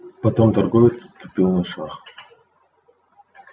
потом торговец тупил на шаг